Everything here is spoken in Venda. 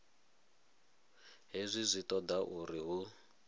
hezwi zwi toda uri hu